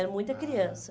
Era muita criança. Ah